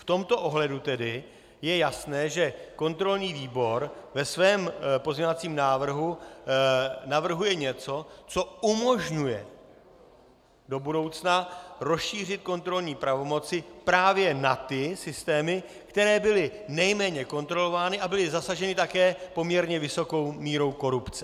V tomto ohledu tedy je jasné, že kontrolní výbor ve svém pozměňovacím návrhu navrhuje něco, co umožňuje do budoucna rozšířit kontrolní pravomoci právě na ty systémy, které byly nejméně kontrolovány a byly zasaženy také poměrně vysokou mírou korupce.